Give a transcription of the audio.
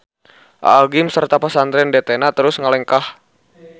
Aa gym sarta Pasantren DT-na terus ngalengkah.